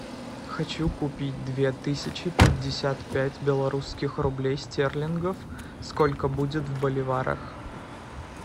хочу купить две тысячи пятьдесят пять белорусских рублей стерлингов сколько будет в боливарах